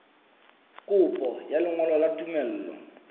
kopo ya lengolo la tumello